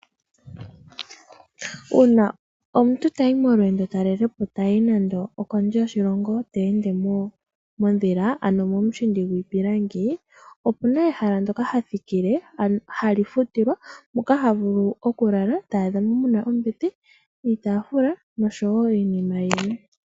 Uuna omuntu tayi molweendo talelepo tayi nando okondje yoshilongo te ende modhila ano momushindi gwiipilangi opuna ehala ndoka ha thikile hali futilwa, moka ha vulu okulala ta adhamo muna ombete iitafula noshowo iinima yilwe.